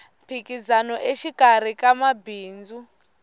mphikizano exikarhi ka mabindzu